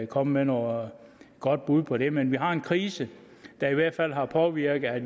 komme med noget godt bud på det men vi har en krise der i hvert fald har påvirket det